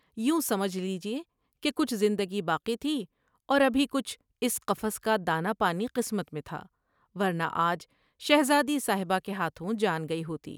یوں سمجھ لیجیے کہ کچھ زندگی باقی تھی اور ابھی کچھ اس قفس کا دانہ پانی قسمت میں تھا ورنہ آج شہزادی صاحبہ کے ہاتھوں جان گئی ہوتی ۔